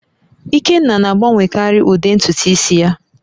Ikenna na-agbanwekarị ụdị ntutu isi ya